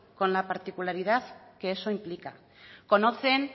con la particularidad que eso implica conocen